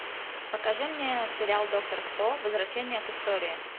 покажи мне сериал доктор кто возвращение к истории